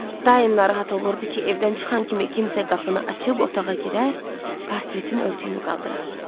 Daim narahat olurdu ki, evdən çıxan kimi kimsə qapını açıb otağa girər, portretin örtüyünü qaldırar.